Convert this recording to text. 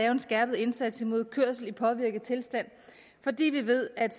en skærpet indsats mod kørsel i påvirket tilstand fordi vi ved at